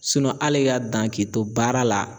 Sinɔn ali ka dan k'i to baara la